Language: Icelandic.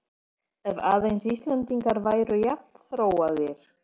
Ef aðeins Íslendingar væru jafn þróaðir!